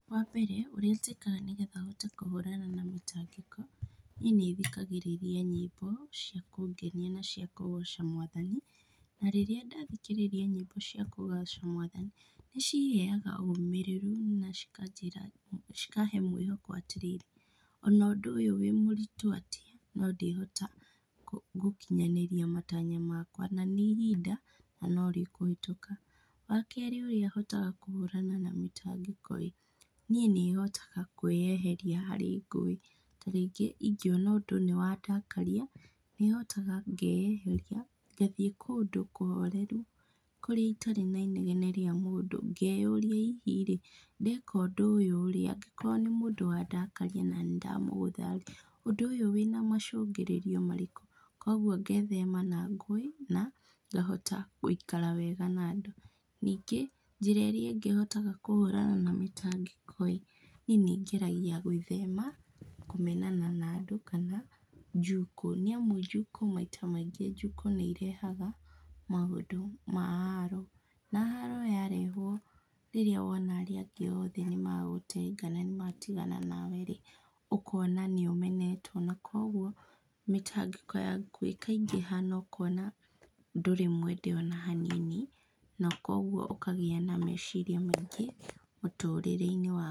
Wambere ũrĩa njĩkaga nĩgetha hote kũhũrana na mĩtangĩko, niĩ nĩthikagĩrĩria nyĩmbo cia kũngenia na cia kũgoca Mwathani, na rĩrĩa ndathikĩrĩria nyĩmbo cia kũgoca Mwathani, nĩciheaga ũmĩrĩru na cikanjĩra cikahe mwĩhoko atĩrĩrĩ, ona ũndũ ũyũ wĩ mũritũ atĩa, no ndĩhota gũkinyanĩria matanya makwa na nĩ ihinda na norĩkũhĩtũka. Wakerĩ ũrĩa hotaga kũhũrana na mĩtangĩko-ĩ, niĩ nĩhotaga kwĩyeheria harĩ ngũĩ. Ta rĩngĩ ingĩona ũndũ nĩwandakaria, nĩhotaga ngeyeheria, ngathiĩ kũndũ kũhoreru kũrĩa itarĩ na inegene rĩa mũndũ, ngeyũria hihi-rĩ, ndeka ũndũ ũyũ-rĩ angĩkorwo nĩ mũndũ wandakaria na nĩndamũgũtha-rĩ, ũndũ ũyũ wĩna macũngĩrĩrio marĩkũ? Kuoguo ngethema na ngũĩ na ngahota gũikara wega na andũ. Ningĩ, njĩra ĩrĩa ĩngĩ hotaga kũhũrana na mĩtangĩko-ĩ , niĩ nĩngeragia gwĩthema kũmenana na andũ kana njukũ, nĩamu njukũ maita maingĩ njukũ nĩirehaga maũndũ ma haro. Na, haro yarehwo rĩrĩa wona arĩa angĩ othe nĩmagũtenga na nĩmatigana nawe-rĩ, ũkona nĩũmenetwo na kuoguo mĩtangĩko yaku ĩkaingĩha na ũkona ndũrĩ mwende ona hanini na kuoguo ũkagĩa na meciria maingĩ mũtũrĩre-inĩ waku.